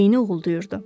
Beyni uğuldayırdı.